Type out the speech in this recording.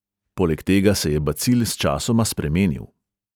Poleg tega se je bacil sčasoma spremenil.